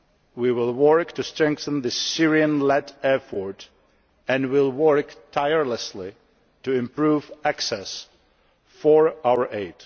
We will work to strengthen this Syrian led effort and will work tirelessly to improve access for our aid.